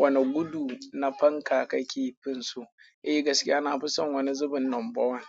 Wane gudu na fanka ka ke finsu? Eh gaskiya na fi son wani zubin number one.